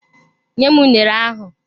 Nyem unere ahụ!